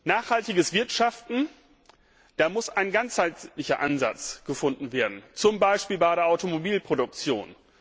Nachhaltiges Wirtschaften Da muss ein ganzheitlicher Ansatz gefunden werden, zum Beispiel bei der Automobilproduktion.